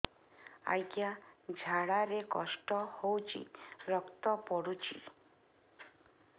ଅଜ୍ଞା ଝାଡା ରେ କଷ୍ଟ ହଉଚି ରକ୍ତ ପଡୁଛି